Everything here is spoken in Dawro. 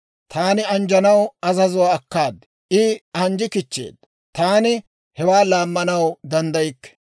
Taani anjjanaw azazuwaa akkaad. I anjji kichcheedda; taani hewaa laammanaw danddaykke.